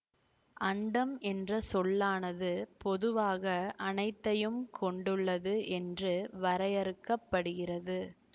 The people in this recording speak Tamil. அண்டம் என்ற சொல்லானது பொதுவாக அனைத்தையும் கொண்டுள்ளது என்று வரையறுக்க படுகிறது